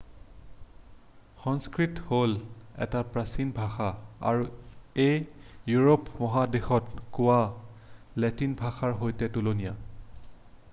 সংস্কৃত হ'ল এটা প্ৰাচীন ভাষা আৰু ই ইউৰোপ মহাদেশত কোৱা লেটিন ভাষাৰ সৈতে তুলনীয়